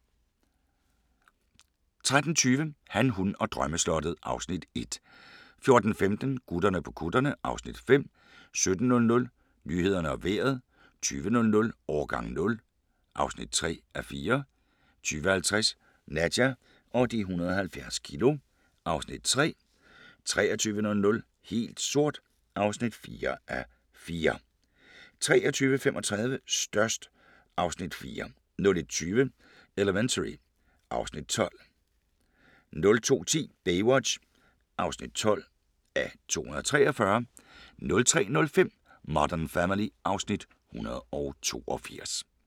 13:20: Han, hun og drømmeslottet (Afs. 1) 14:15: Gutterne på kutterne (Afs. 5) 17:00: Nyhederne og Vejret 20:00: Årgang 0 (3:4) 20:50: Nadja og de 170 kilo (Afs. 3) 23:00: Helt sort (4:4) 23:35: Størst (Afs. 4) 01:20: Elementary (Afs. 12) 02:10: Baywatch (12:243) 03:05: Modern Family (Afs. 182)